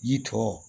Yiri tɔ